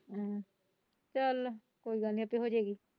ਚੱਲ ਕੋਇ ਗੱਲ ਨਹੀਂ ਆਪੇ ਹੋ ਜਾਏਗੀ।